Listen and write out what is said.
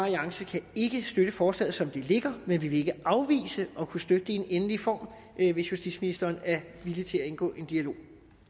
alliance kan ikke støtte forslaget som det ligger men vi vil ikke afvise at kunne støtte det i en endelig form hvis justitsministeren er villig til at indgå i en dialog